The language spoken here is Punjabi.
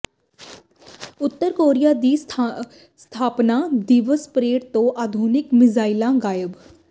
ਉਤਰ ਕੋਰੀਆ ਦੀ ਸਥਾਪਨਾ ਦਿਵਸ ਪਰੇਡ ਤੋਂ ਆਧੁਨਿਕ ਮਿਜ਼ਾਈਲਾਂ ਗਾਇਬ